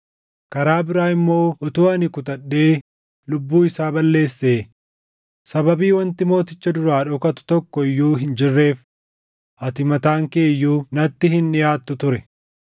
Karaa biraa immoo utuu ani kutadhee lubbuu isaa balleessee, sababii wanti mooticha duraa dhokatu tokko iyyuu hin jirreef ati mataan kee iyyuu natti hin dhiʼaattu ture.”